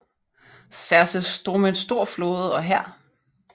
Xerxes drog med en stor flåde og hær